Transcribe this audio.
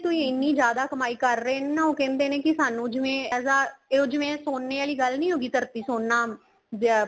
ਉਹਦੇ ਤੋਂ ਹੀ ਐਨੀਂ ਜਿਆਦਾ ਕਮਾਈ ਕਰ ਰਹੇ ਨੇ ਉਹ ਕਹਿੰਦੇ ਨੇ ਸਾਨੂੰ ਜਿਵੇਂ as a ਉਹ ਜਿਵੇਂ ਸੋਨੇ ਆਲੀ ਗੱਲ ਨਹੀਂ ਹੋਗੀ ਧਰਤੀ ਸੋਨਾ ਜਿਆ